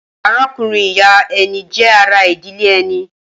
Arákùnrin-ìyá ẹni jẹ́ ara ìdílé ẹni.